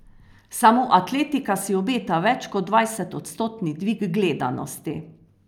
Samo atletika si obeta več kot dvajset odstotni dvig gledanosti.